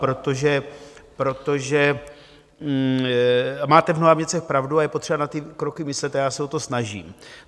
Protože máte v mnoha věcech pravdu a je potřeba na ty kroky myslet a já se o to snažím.